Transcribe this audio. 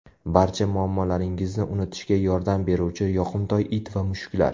Barcha muammolaringizni unutishga yordam beruvchi yoqimtoy it va mushuklar .